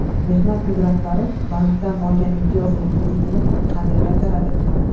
Mehnat migrantlari bankdan olgan imtiyozli kreditini qanday qaytaradi?.